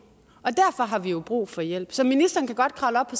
og derfor har vi jo brug for hjælp så ministeren kan godt kravle op på